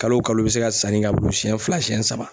Kalo kalo i bɛ se ka sanni k'a bolo siyɛn fila siyɛn saba.